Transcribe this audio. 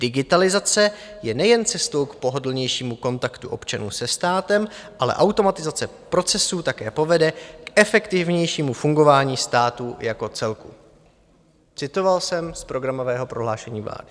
Digitalizace je nejen cestou k pohodlnějšímu kontaktu občanů se státem, ale automatizace procesů také povede k efektivnějšímu fungování státu jako celku. - Citoval jsem z programového prohlášení vlády.